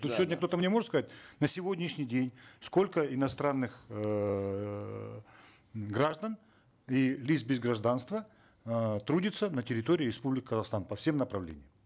сегодня кто то мне может сказать на сегодняшний день сколько иностранных эээ граждан и лиц без гражданства э трудится на территории республики казахстан по всем направлениям